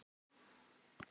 Ég er alltaf ein.